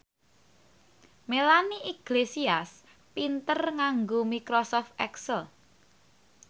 Melanie Iglesias pinter nganggo microsoft excel